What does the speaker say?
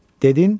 Dedin,